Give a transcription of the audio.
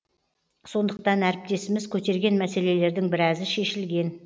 сондықтан әріптесіміз көтерген мәселелердің біразы шешілген